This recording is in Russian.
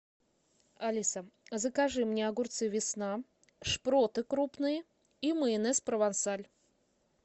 алиса закажи мне огурцы весна шпроты крупные и майонез провансаль